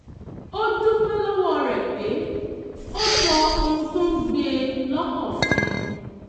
ó dúpẹ́ lọ́wọ́ rẹ̀ pé ó sọ ohun tó ń gbé e lọ́kàn fún un